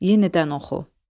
Yenidən oxu.